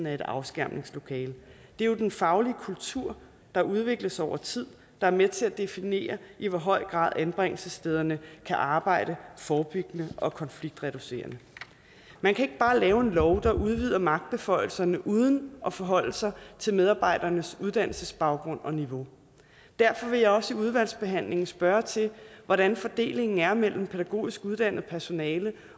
af et afskærmningslokale det er jo den faglige kultur der udvikles over tid der er med til at definere i hvor høj grad anbringelsesstederne kan arbejde forebyggende og konfliktreducerende man kan ikke bare lave en lov der udvider magtbeføjelserne uden at forholde sig til medarbejdernes uddannelsesbaggrund og niveau derfor vil jeg også i udvalgsbehandlingen spørge til hvordan fordelingen er mellem pædagogisk uddannet personale